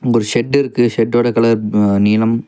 இங்க ஒரு ஷெட் இருக்கு. ஷெட்டோ கலர் ஹ நீளம்.